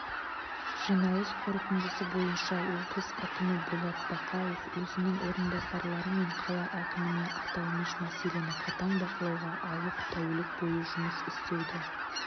жиналыс қорытындысы бойынша облыс әкімі болат бақауов өзінің орынбасарлары мен қала әкіміне аталмыш мәселені қатаң бақылауға алып тәулік бойы жұмыс істеуді